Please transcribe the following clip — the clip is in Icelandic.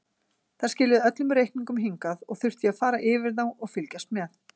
Þær skiluðu öllum reikningum hingað og þurfti ég að fara yfir þá og fylgjast með.